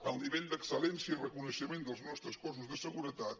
el nivell d’excel·lència i reconeixement dels nostres cossos de seguretat